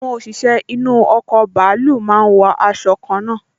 Àwọn òṣìṣẹ́ inú ọkọ̀ bàálù máa n wọ aṣọ kanna